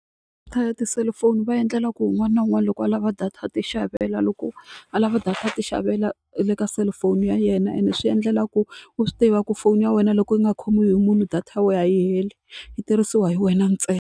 ya tiselifoni va endlela ku un'wana na un'wana loko a lava data ya ti xavela loko a lava data a ti xavela le ka cellphone ya yena ene swi endlela ku u swi tiva ku foni ya wena loko u nga khomiwi hi munhu data ya wena a yi hela yi tirhisiwa hi wena ntsena.